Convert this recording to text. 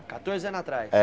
Catorze anos atrás? É